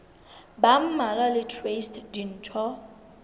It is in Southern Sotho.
ba mmalwa le traste ditho